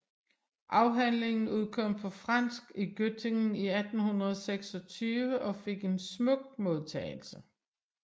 Afhandlingen udkom på fransk i Göttingen i 1826 og fik en smuk modtagelse